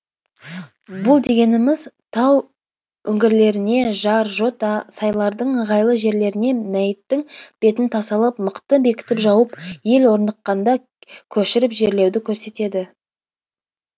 бұл дегеніміз тау үңгірлеріне жар жота сайлардың ыңғайлы жерлеріне мәйіттің бетін тасалап мықты бекітіп жауып ел орныққанда көшіріп жерлеуді көрсетеді